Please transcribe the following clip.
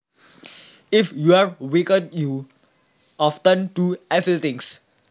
If you are wicked you often do evil things